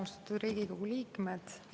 Austatud Riigikogu liikmed!